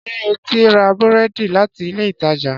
Ṣé eti ra búrẹ́dì láti ilé ìtajà?